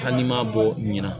Hali n'i m'a bɔ ɲina